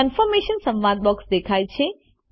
confirmation સંવાદ box દેખાય છે